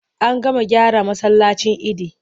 An gama gyara masallacin idi.